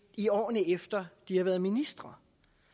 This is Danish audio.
i årene efter de har været ministre